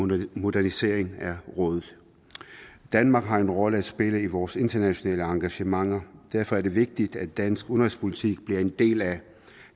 modernisering af rådet danmark har en rolle at spille i vores internationale engagementer og derfor er det vigtigt at dansk udenrigspolitik bliver en del af